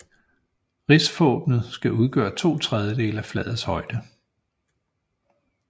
Rigsvåbnet skal udgøre to tredjedele af flagets højde